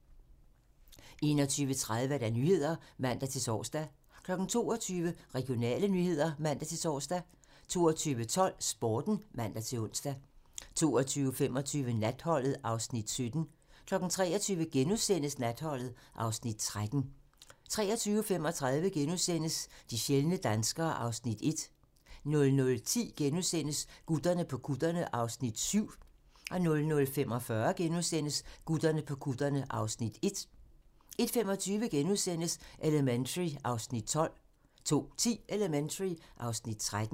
21:30: Nyhederne (man-tor) 22:00: Regionale nyheder (man-tor) 22:12: Sporten (man-ons) 22:25: Natholdet (Afs. 17) 23:00: Natholdet (Afs. 13)* 23:35: De sjældne danskere (Afs. 1)* 00:10: Gutterne på kutterne (Afs. 7)* 00:45: Gutterne på kutterne (Afs. 1)* 01:25: Elementary (Afs. 12)* 02:10: Elementary (Afs. 13)